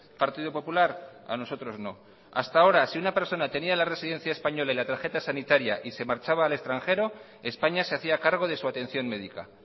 partido popular a nosotros no hasta ahora si una persona tenía la residencia española y la tarjeta sanitaria y se marchaba al extranjero españa se hacía cargo de su atención médica